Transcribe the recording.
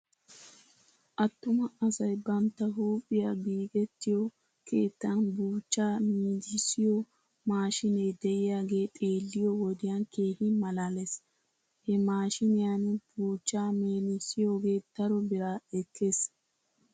Attuma asay bantta huuphiyaa giigettiyoo keetan buuchchaa miidissiyoo maashiinee de'iyaagee xeeliyoo wodiyan keehi malaales. He maashiiniyan buuchchaa meedissioogee daro bira ekkes.